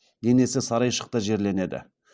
денесі сарайшықта жерленеді